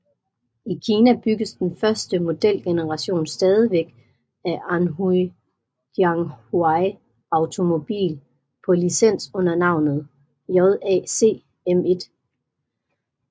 I Kina bygges den første modelgeneration stadigvæk af Anhui Jianghuai Automobile på licens under navnet JAC M1